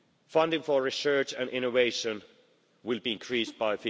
Funding for research and innovation will be increased by